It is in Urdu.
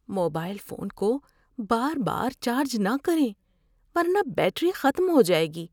موبائل فون کو بار بار چارج نہ کریں ورنہ بیٹری ختم ہو جائے گی۔